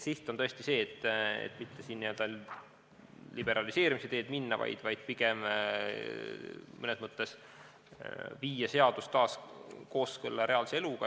Siht on tõesti see, et mitte siin n-ö liberaliseerimise teed minna, vaid pigem mõnes mõttes viia seadus taas kooskõlla reaalse eluga.